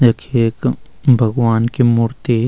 यख एक भगवान् की मूर्ति --